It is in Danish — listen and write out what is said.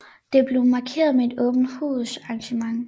Det blev markeret med et åbent hus arrangement